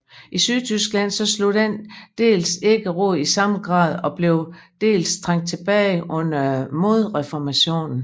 I Sydtyskland slog den dels ikke rod i samme grad og blev dels trængt tilbage under modreformationen